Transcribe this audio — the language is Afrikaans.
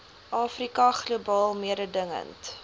afrika globaal mededingend